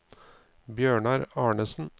Bjørnar Arnesen